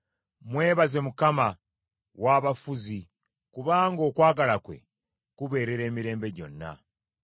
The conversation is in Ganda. Mwebaze Mukama w’abafuzi, kubanga okwagala kwe kubeerera emirembe gyonna.